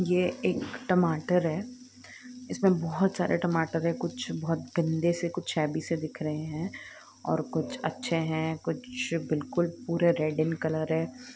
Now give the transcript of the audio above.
यह एक टमाटर है इसमे बहुत सारे टमाटर है कुछ बहुत घनदे से है कुछ कुछ अच्छे है पूरे रेड़ इन कलर है।